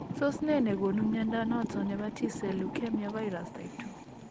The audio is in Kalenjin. Tos nee ne gonu mnyondo noton nebo T cell leukemia virus, type 2